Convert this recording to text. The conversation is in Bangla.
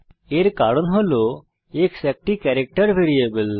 এর কারণ হল x একটি ক্যারেক্টার ভ্যারিয়েবল